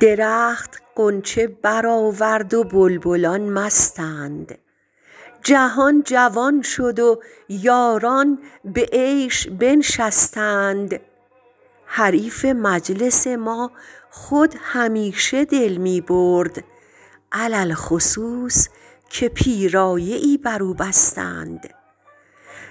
درخت غنچه برآورد و بلبلان مستند جهان جوان شد و یاران به عیش بنشستند حریف مجلس ما خود همیشه دل می برد علی الخصوص که پیرایه ای بر او بستند